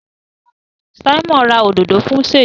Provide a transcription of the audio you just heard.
Simon rà òdodo fún Seyi.